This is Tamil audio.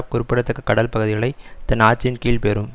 குறிப்பிடத்தக்க கடல்பகுதிகளை தன் ஆட்சியின் கீழ் பெறும்